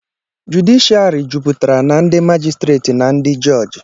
jụdịshịàrị jupụtara na ndị màjịstrètị na ndị jọjị